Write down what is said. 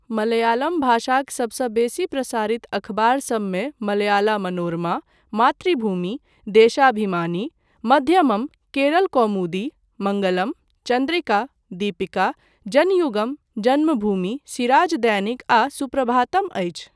मलयालम भाषाक सभसँ बेसी प्रसारित अखबार सभमे मलयाला मनोरमा, मातृभूमि, देशाभिमानी, मध्यमम, केरल कौमुदी, मङ्गलम, चन्द्रिका, दीपिका, जनयुगम, जन्मभूमि, सिराज दैनिक आ सुप्रभातम अछि।